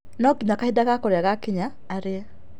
No nginya kahinda gakũrĩa gakinya arĩe,